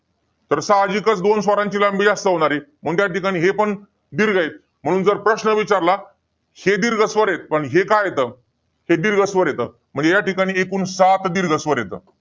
तर साहजिकच दोन स्वरांची लांबी जास्त होणार आहे. म्हणून त्या ठिकाणी हे पण दीर्घ आहे. म्हणून जर प्रश्न विचारला हे दीर्घ स्वर आहेत. पण हे का येतं? ते दीर्घ स्वर येतं. या ठिकाणी एकूण सात दीर्घ स्वर येतं.